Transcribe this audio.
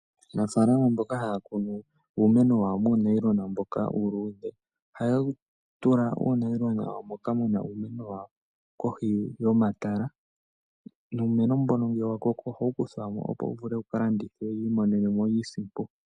Aanafaalama mboka haya kunu uumeno wawo muunayilona mboka uuluudhe oha ya tula uunayilona wawo moka muna uumeno wawo kohi yomatala. Nuumeno mbono ngele wa koko oha wu kuthwa mo, opo wu vule wuka landithwe opo yi imonene mo iinsimpo.